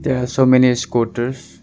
They are so many scooters.